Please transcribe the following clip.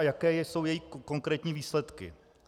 A jaké jsou její konkrétní výsledky?